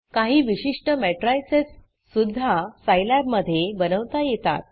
काही विशिष्ट matricesमेट्रिसस सुध्दा Scilabसाईलॅब मधे बनवता येतात